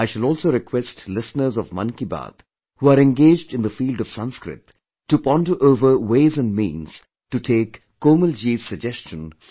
I shall also request listeners of Mann Ki Baat who are engaged in the field of Sanskrit, to ponder over ways & means to take Komalji's suggestion forward